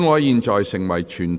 現在成為全體委員會。